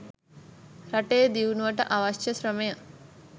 රටේ දියුණුවට අවශ්‍ය ශ්‍රමය